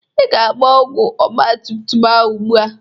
Ị ga-agba ọgwọ ọgbụgba ahụ ugbu a.